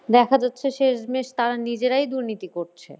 দেখা যাচ্ছে শেষমেশ তারা নিজেরাই দুর্নীতি করছে।